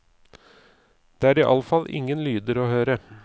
Det er iallfall ingen lyder å høre.